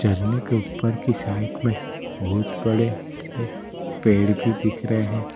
झरने के ऊपर की साइड मे बहोत बड़े बड़े पेड़ भी दिख रहे है।